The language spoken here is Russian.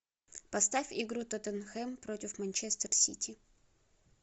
поставь игру тоттенхэм против манчестер сити